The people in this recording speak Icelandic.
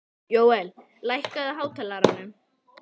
Jóel, lækkaðu í hátalaranum.